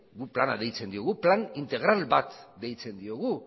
guk plana deitzen diogu plan integral bat deitzen diogu